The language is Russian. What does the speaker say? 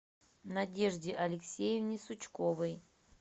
надежде алексеевне сучковой